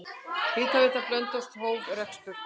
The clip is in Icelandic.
Hitaveita Blönduóss hóf rekstur.